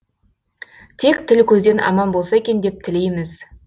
тек тіл көзден аман болса екен деп тілейміз